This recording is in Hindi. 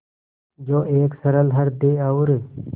जो एक सरल हृदय और